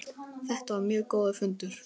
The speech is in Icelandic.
Þetta var mjög góður fundur.